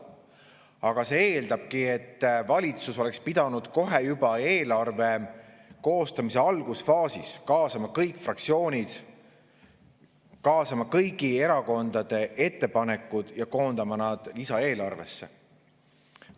Aga see eeldab, et valitsus oleks pidanud kohe, juba eelarve koostamise algusfaasis kaasama kõik fraktsioonid, kaasama kõigi erakondade ettepanekud ja koondama need lisaeelarvesse.